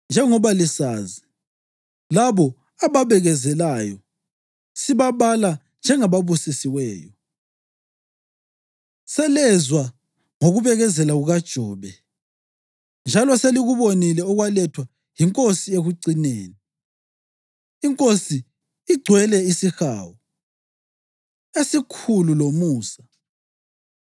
Njengoba lisazi, labo ababekezelayo sibabala njengababusisiweyo. Selezwa ngokubekezela kukaJobe njalo selikubonile okwalethwa yiNkosi ekucineni. INkosi igcwele isihawu esikhulu lomusa.